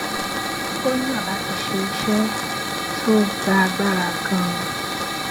ó yàn láti ṣe iṣé tó gba agbára ganan